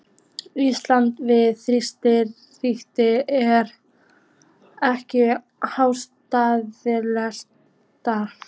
Íslands við þýska ríkið, er ekkert aðhlátursefni.